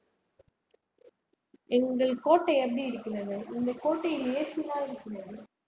எங்கள் கோட்டை எப்படி இருக்கிறது எங்கள் கோட்டையில் AC எல்லாம் இருக்கிறது